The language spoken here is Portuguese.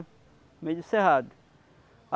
No meio do cerrado.